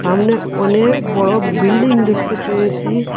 সামনে অনেক বড় বিল্ডিং দেখতে পেয়েসি।